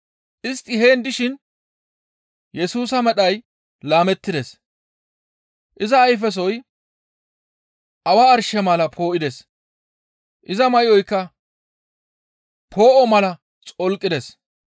Istti heen dishin Yesusa medhay laamettides; iza ayfesoy Awa arshe mala poo7ides; iza may7oyka poo7o mala xolqides.